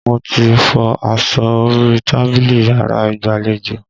Mo ti fọ aṣọ orí tábìlì yàrá ìgbàlejò